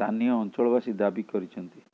ସ୍ଥାନୀୟ ଅଞ୍ଚଳବାସୀ ଦାବି କରିଛନ୍ତି